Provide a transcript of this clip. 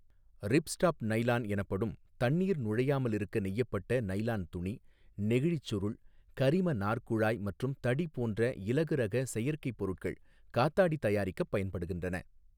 Ripstop nylon எனப்படும் தண்ணீர் நுழையாமல் இருக்க நெய்யப்பட்ட நைலான் துணி , நெகிழிச் சுருள், கரிம நார் குழாய் மற்றும் தடி போன்ற இலகுரக செயற்கை பொருட்கள் காத்தாடி தயாரிக்கப் பயன்படுகின்றன.